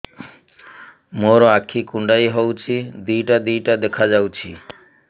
ମୋର ଆଖି କୁଣ୍ଡାଇ ହଉଛି ଦିଇଟା ଦିଇଟା ଦେଖା ଯାଉଛି